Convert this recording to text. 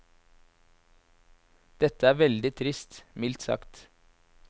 Dette er veldig trist, mildt sagt.